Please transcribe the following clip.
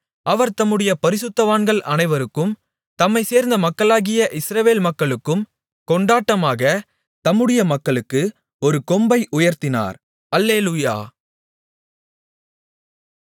அவர் தம்முடைய பரிசுத்தவான்கள் அனைவருக்கும் தம்மைச் சேர்ந்த மக்களாகிய இஸ்ரவேல் மக்களுக்கும் கொண்டாட்டமாக தம்முடைய மக்களுக்கு ஒரு கொம்பை உயர்த்தினார் அல்லேலூயா